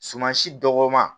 Suman si dɔgɔman